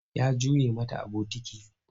Ya juye mata a bokiti.